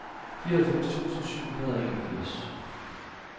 fireoghalvfems tusind syv hundrede og enogfirs